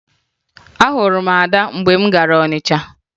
Ahụrụ m Ada mgbe m gara Ọnịcha